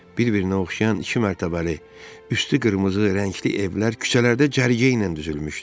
Bir-birinə oxşayan iki mərtəbəli, üstü qırmızı rəngli evlər küçələrdə cərgə ilə düzülmüşdü.